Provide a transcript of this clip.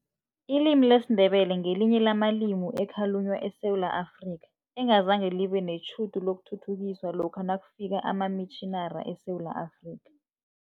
Ilimi lesiNdebele ngelinye lamalimi ekhalunywa eSewula Afrika, engazange libe netjhudu lokuthuthukiswa lokha nakufika amamitjhinari eSewula Afrika.